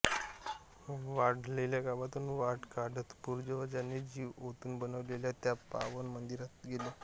वाढलेल्या गवतातून वाट काढत पूर्वजांनी जीव ओतून बनवलेल्या त्या पावन मंदिरात गेलो